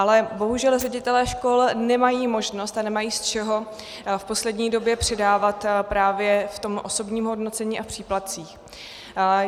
Ale bohužel ředitelé škol nemají možnost a nemají z čeho v poslední době přidávat právě v tom osobním ohodnocení a příplatcích.